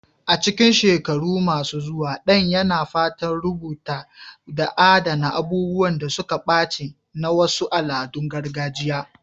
A cikin shekaru masu zuwa, Dan yana fatan rubutawa da adana abubuwan da suka ɓace na wasu al'adun gargajiya.